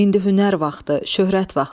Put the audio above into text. İndi hünər vaxtı, şöhrət vaxtıdır.